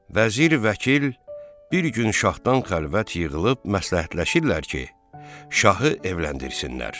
Vəzir, vəkil bir gün şahdan xəlvət yığılıb məsləhətləşirlər ki, şahı evləndirsinlər.